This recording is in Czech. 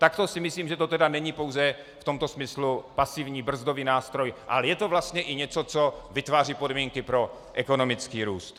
Takto si myslím, že to tedy není pouze v tomto smyslu pasivní brzdový nástroj, ale je to vlastně i něco, co vytváří podmínky pro ekonomický růst.